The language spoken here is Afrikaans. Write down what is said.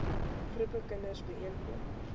groepe kinders byeenkom